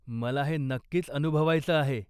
मला हे नक्कीच अनुभवायचं आहे.